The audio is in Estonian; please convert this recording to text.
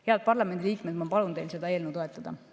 Head parlamendi liikmed, ma palun teil seda eelnõu toetada.